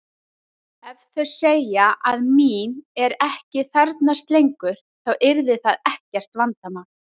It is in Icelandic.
Ef þau segja að mín er ekki þarfnast lengur þá yrði það ekkert vandamál.